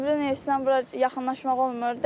Zibilin isdən bura yaxınlaşmaq olmur.